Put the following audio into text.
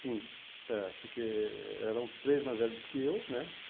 Sim, é, porque eram três mais velhos que eu, né?